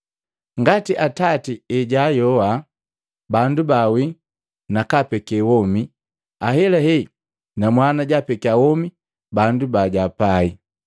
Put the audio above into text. Ngati Atati ejaayoha bandu bawii nakapeke womi, ahelahe na Mwana japeke womi bandu bajapai.